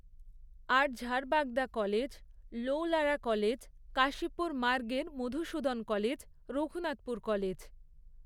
আর Jharbagda college, Laulara college, Kashipur মার্গের Madhusudan college, Raghunathpur college.